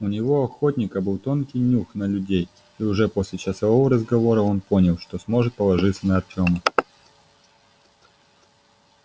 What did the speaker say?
у него охотника был тонкий нюх на людей и уже после часового разговора он понял что сможет положиться на артёма